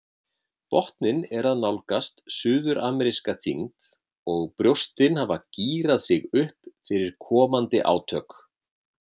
Botninn er að nálgast suðurameríska þyngd og brjóstin hafa gírað sig upp fyrir komandi átök.